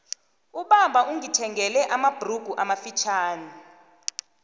ubaba ungothengele amabhrugu amafitjhani